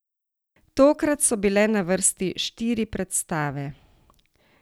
Tokrat so bile na vrsti štiri predstave.